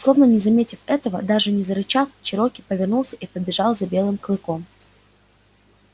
словно не заметив этого даже не зарычав чероки повернулся и побежал за белым клыком